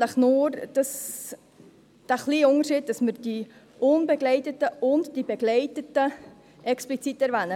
es nur den kleinen Unterschied, dass wir die unbegleiteten und die begleiteten Kinder explizit erwähnen.